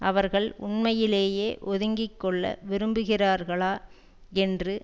அவர்கள் உண்மையிலேயே ஒதுங்கிக்கொள்ள விரும்புகிறார்களா என்று